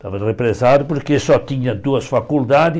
Estava represado porque só tinha duas faculdades.